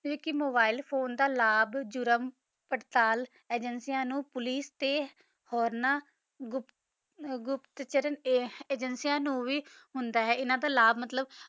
ਕੁ ਕਾ mobile phone ਦਾ ਲਬ ਜੁਰਮ ਪਰ੍ਤਾਲ ਅਜਾਨ੍ਸਿਆ ਨੂ ਪੋਲਿਕੇ ਤਾ ਹੋਰ ਗੁਪਤ ਚਾਰਾਂ ਅਜਾਨ੍ਸਿਆ ਨੂ ਵੀ ਹੋਂਦ ਆ ਅਨਾ ਦਾ ਲਬ ਮਤਲਬ